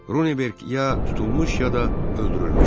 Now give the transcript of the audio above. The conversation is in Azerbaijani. Ronenberq ya tutulmuş, ya da öldürülmüşdü.